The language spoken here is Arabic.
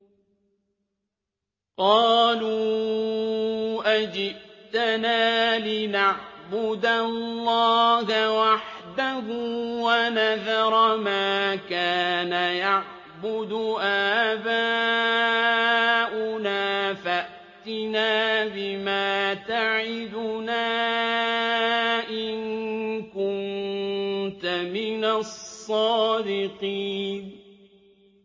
قَالُوا أَجِئْتَنَا لِنَعْبُدَ اللَّهَ وَحْدَهُ وَنَذَرَ مَا كَانَ يَعْبُدُ آبَاؤُنَا ۖ فَأْتِنَا بِمَا تَعِدُنَا إِن كُنتَ مِنَ الصَّادِقِينَ